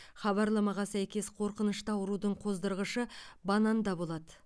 хабарламаға сәйкес қорқынышты аурудың қоздырғышы бананда болады